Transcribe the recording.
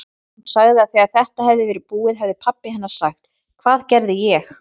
Hún sagði að þegar þetta hefði verið búið hefði pabbi hennar sagt: Hvað gerði ég?